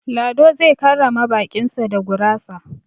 Lado zai karrama baƙin su da gurasa.